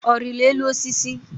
Ọ riri elu osisi?